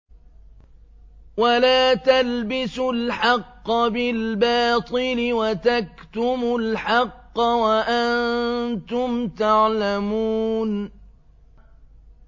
وَلَا تَلْبِسُوا الْحَقَّ بِالْبَاطِلِ وَتَكْتُمُوا الْحَقَّ وَأَنتُمْ تَعْلَمُونَ